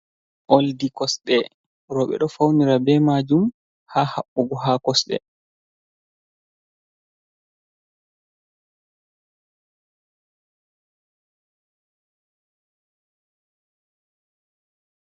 Oldi kosɗe roɓe ɗo faunira be majum ha haɓɓugo ha kosde.